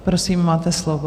Prosím, máte slovo.